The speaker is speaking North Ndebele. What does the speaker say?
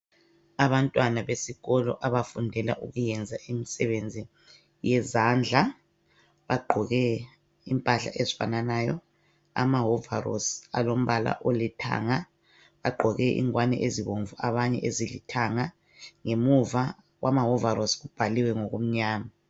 abantwana besikolo abafundela ukuyenza imisebenzi yezandla bagqoke impahla ezifananayo ama wovolosi alombala olithanga bagqoke ingwani ezibomvu abanye ezilithanga ngemuva kwamawovolosi kukbhaliwe ngokumnyama